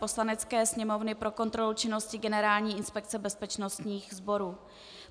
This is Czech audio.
Poslanecké sněmovny pro kontrolu činnosti Generální inspekce bezpečnostních sborů